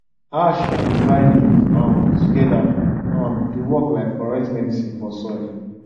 ash and dry leaf um together um dey work like correct medicine for soil